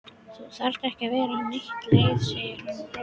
Þú þarft ekki að vera neitt leið segir hann brosandi.